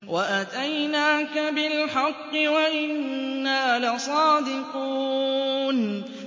وَأَتَيْنَاكَ بِالْحَقِّ وَإِنَّا لَصَادِقُونَ